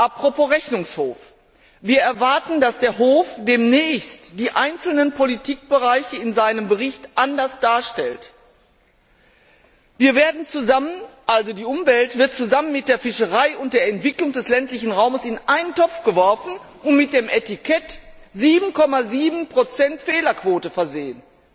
Apropos Rechnungshof Wir erwarten, dass der Hof demnächst die einzelnen Politikbereiche in seinem Bericht anders darstellt. Die Umwelt wird zusammen mit der Fischerei und der Entwicklung des ländlichen Raums in einen Topf geworfen und mit dem Etikett 7,7 Fehlerquote versehen.